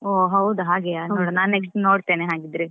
ಹೋ ಹೌದಾ ಹಾಗೆಯೇ ನೋಡ್ವ ನಾನ್ next ನೋಡ್ತೇನೆ ಹಾಗಿದ್ರೆ.